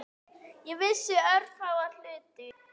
Ég vissi örfáa hluti.